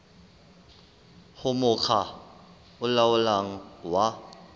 ho mokga o laolang wa